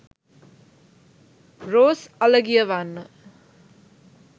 rose alagiyawanna